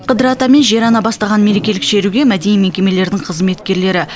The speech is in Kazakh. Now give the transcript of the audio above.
қыдыр ата мен жер ана бастаған мерекелік шеруге мәдени мекемелердің қызметкерлері